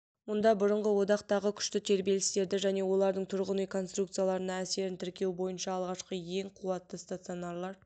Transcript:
мұнда бұрынғы одақтағы күшті тербелістерді және олардың тұрғын үй конструкцияларына әсерін тіркеу бойынша алғашқы және ең қуатты станциялар